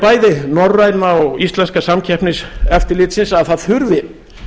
bæði norræna og íslenska samkeppniseftirlitsins að það þurfi